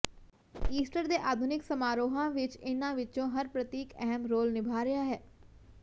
Easter ਦੇ ਆਧੁਨਿਕ ਸਮਾਰੋਹਾਂ ਵਿੱਚ ਇਨ੍ਹਾਂ ਵਿੱਚੋਂ ਹਰ ਪ੍ਰਤੀਕ ਅਹਿਮ ਰੋਲ ਨਿਭਾ ਰਿਹਾ ਹੈ